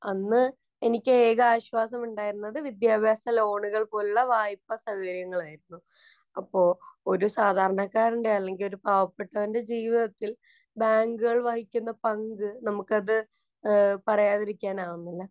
അന്ന് എനിക്ക് ഏക ആശ്വാസം ഉണ്ടായിരുന്നത് വിദ്യാഭ്യാസ ലോണുകള്‍ പോലുള്ള വായ്പസൗകര്യങ്ങളായിരുന്നു. അപ്പൊ ഒരു സാധാരണക്കാരന്‍റെ, അല്ലെങ്കിൽ ഒരു പാവപ്പെട്ടവന്‍റെ ജീവിതത്തില്‍ ബാങ്കുകള്‍ വഹിക്കുന്ന പങ്ക്, നമുക്കത് പറയാതിരിക്കാനാവുന്നില്ല.